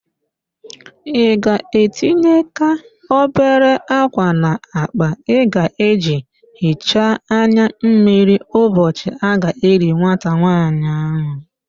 Ị ga-etinyeka obere ákwà n'akpa ị ga-eji hichaa anya mmiri ụbọchị a ga-eli nwata nwaanyị ahụ